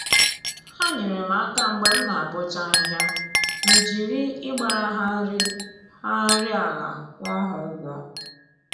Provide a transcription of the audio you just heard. Ha nyeere m aka mgbe m na-abọcha ahịhịa, m jiri ịgbara ha nri ha nri ala kwụọ ha ụgwọ